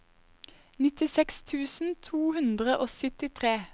nittiseks tusen to hundre og syttitre